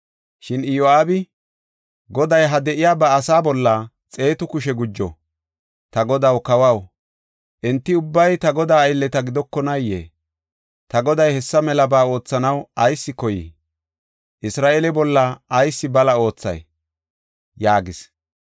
Shin Iyo7aabi, “Goday, ha de7iya ba asaa bolla xeetu kushe gujo! Ta godaw, kawaw, enti ubbay ta godaa aylleta gidokonaayee? Ta goday hessa melaba oothanaw ayis koyii? Isra7eele bolla ayis bala oothay?” yaagis.